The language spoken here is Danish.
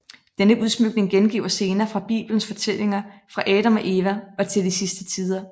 Denne udsmykning gengiver scener fra bibelens fortællinger fra Adam og Eva og til de sidste tider